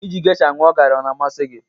Iji geisha ñụọ gari ọ na-amasị gị?